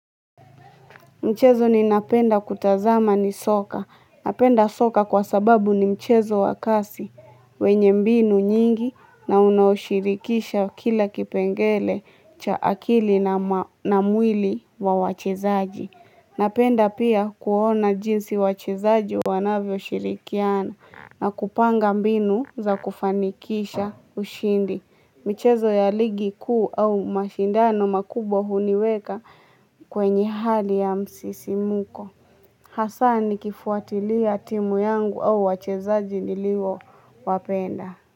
Mchezo ninapenda kutazama ni soka. Napenda soka kwa sababu ni mchezo wa kasi. Wenye mbinu nyingi na unaoshirikisha kila kipengele cha akili na mwili wa wachezaji. Napenda pia kuona jinsi wachezaji wanavyoshirikiana na kupanga mbinu za kufanikisha ushindi. Michezo ya ligi kuu au mashindano makubwa huniweka kwenye hali ya msisimko. Hasa nikifuatilia ya timu yangu au wachezaji niliwowapenda.